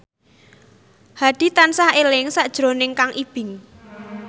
Hadi tansah eling sakjroning Kang Ibing